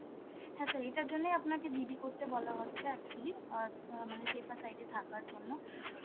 হ্যাঁ sir এটার জন্য আপনাকে GD করতে বলা হচ্ছে actually, অ্যাঁ তা~ মানে safer side এ থাকার জন্য,